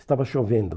Estava chovendo.